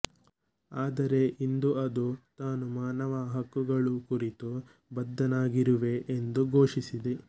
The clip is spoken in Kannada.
ಆದರೆ ಇಂದು ಅದು ತಾನು ಮಾನವ ಹಕ್ಕುಗಳು ಕುರಿತು ಬದ್ಧವಾಗಿರುವೆ ಎಂದು ಘೋಷಿಸಿದೆ